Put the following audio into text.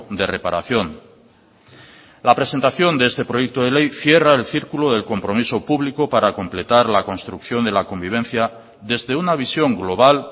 de reparación la presentación de este proyecto de ley cierra el círculo del compromiso público para completar la construcción de la convivencia desde una visión global